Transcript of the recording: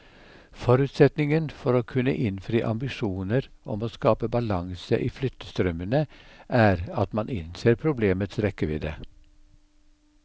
Forutsetningen for å kunne innfri ambisjoner om å skape balanse i flyttestrømmene er at man innser problemets rekkevidde.